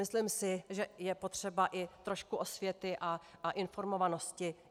Myslím si, že je potřeba i trošku osvěty a informovanosti.